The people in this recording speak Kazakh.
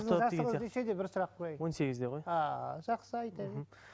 бір сұрақ қояйын он сегізде ғой ааа жақсы айта бер